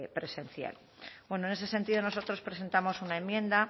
presencial bueno en ese sentido nosotros presentamos una enmienda